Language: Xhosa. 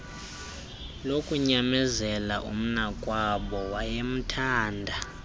lokunyamezela umnakwabo wayemthanda